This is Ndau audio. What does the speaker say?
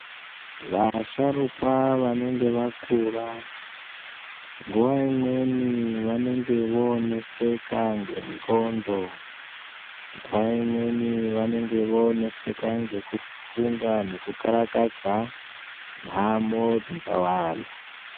Vasharukwa vanenge vakura, nguwa imweni vanenge voneseka ngendxondo, nguva imweni vanenge voneseka ngekufunga nekukarakadza, nhamo dzakawanda.